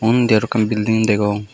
undi araw ekkan belding degong.